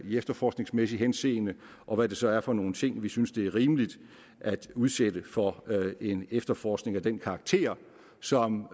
i efterforskningsmæssigt henseende og hvad det så er for nogle ting som vi synes det er rimeligt at udsætte for en efterforskning af den karakter som